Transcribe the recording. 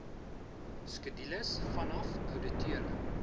skedules vanaf ouditeure